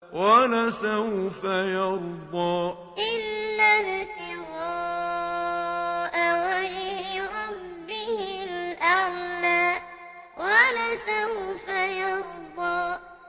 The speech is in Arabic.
وَلَسَوْفَ يَرْضَىٰ وَلَسَوْفَ يَرْضَىٰ